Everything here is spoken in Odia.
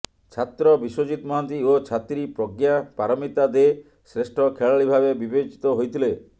ଛାତ୍ର ବିଶ୍ୱଜିତ ମହାନ୍ତି ଓ ଛାତ୍ରୀ ପ୍ରଜ୍ଞା ପାରମିତା ଦେ ଶ୍ରେଷ୍ଠ ଖେଳାଳୀ ଭାବେ ବିବେଚିତ ହୋଇଥିଲେ